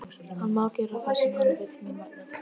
Hann má gera það sem hann vill mín vegna.